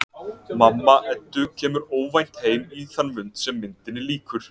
Mamma Eddu kemur óvænt heim í þann mund sem myndinni lýkur.